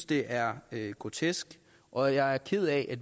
det er grotesk og jeg er ked af